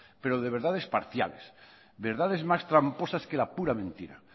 pero de verdades parciales verdades más tramposas que la pura mentira